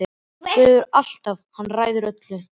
Guð hefur allt, hann ræður öllu.